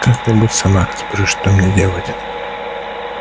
как-нибудь сама разберусь что мне делать